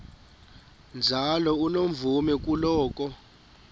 njalo unomvume kuloko